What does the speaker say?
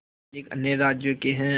मालिक अन्य राज्यों के हैं